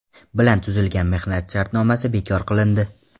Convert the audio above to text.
bilan tuzilgan mehnat shartnomasi bekor qilindi.